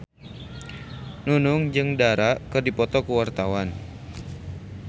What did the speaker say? Nunung jeung Dara keur dipoto ku wartawan